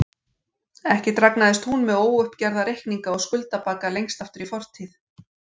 Ekki dragnaðist hún með óuppgerða reikninga og skuldabagga lengst aftur í fortíð.